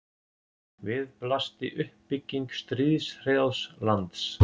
Við blasti uppbygging stríðshrjáðs lands.